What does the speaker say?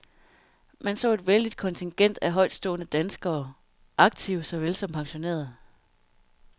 Man så et vældigt kontingent af højtstående danskere, aktive såvel som pensionerede.